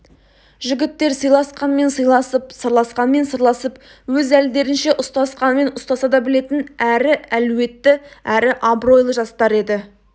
жігіттер сыйласқанмен сыйласып сырласқанмен сырласып өз әлдерінше ұстасқанмен ұстаса да білетін әрі әлуетті әрі абыройлы жастар еді